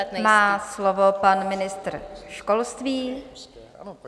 A nyní má slovo pan ministr školství.